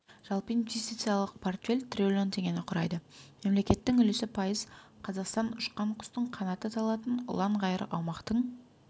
жалпы инвестициялық портфель триллион теңгені құрайды мемлекеттің үлесі пайыз қазақстан ұшқан құстың қанаты талатын ұлан-ғайыр аумақтың